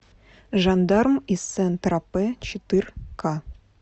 жандарм из сен тропе четырка